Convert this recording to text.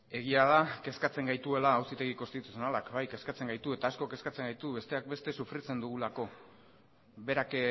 egia da kezkatzen gaituela auzitegi konstituzionalak bai kezkatzen gaitu eta asko kezkatzen gaitu besteak beste sufritzen dugulako berak